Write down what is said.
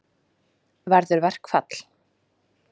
Verður verkfall?